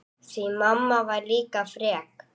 Því mamma var líka frek.